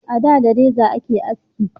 A da da reza a ke haski